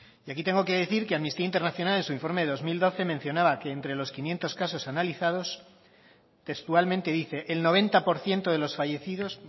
y aquí tengo que decir que amnistía internacional en su informe de dos mil doce mencionaba que entre los quinientos casos analizados textualmente dice el noventa por ciento de los fallecidos